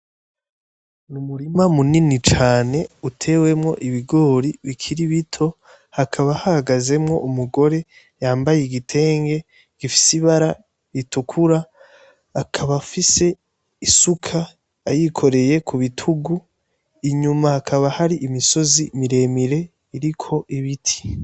Ni umurima munini cane utewemwo ibigori bikiri bito hakaba hagazemwo umugore yambaye igitenge gifise ibara ritukura akaba afise isuka ayikoreye ku bitugu inyuma hakaba hari imisozi miremire riko ibiti.